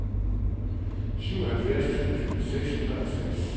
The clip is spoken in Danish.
syvoghalvfjerds tusind seks hundrede og seks